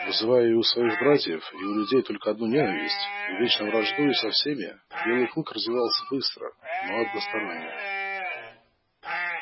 вызывая и у своих братьев и у людей только одну ненависть и вечно враждуя со всеми белый клык развивался быстро но односторонне